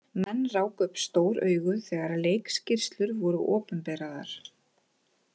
Menn ráku upp stór augu þegar leikskýrslur voru opinberaðar.